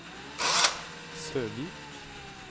Søvik